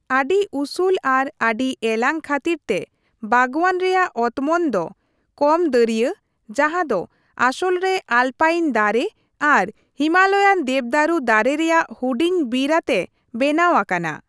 ᱟᱹᱰᱤ ᱩᱥᱩᱞ ᱟᱨ ᱟᱹᱰᱤ ᱮᱞᱟᱝ ᱠᱷᱟᱹᱛᱤᱨ ᱛᱮ ᱵᱟᱜᱽᱣᱟᱱ ᱨᱮᱭᱟᱜ ᱚᱛᱢᱚᱱ ᱫᱚ ᱠᱚᱢ ᱫᱟᱹᱨᱭᱟᱹ, ᱡᱟᱦᱟᱸ ᱫᱚ ᱟᱥᱚᱞ ᱨᱮ ᱟᱞᱯᱟᱭᱤᱱ ᱫᱟᱨᱮ ᱟᱨ ᱦᱤᱢᱟᱞᱚᱭᱟᱱ ᱫᱮᱵᱽᱫᱟᱨᱩ ᱫᱟᱨᱮ ᱨᱮᱭᱟᱜ ᱦᱩᱰᱤᱧ ᱵᱤᱨ ᱟᱛᱮ ᱵᱮᱱᱟᱣ ᱟᱠᱟᱱᱟ ᱾